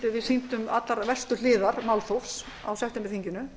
við sýndum allra verstu hliðar málþófs á septemberþinginu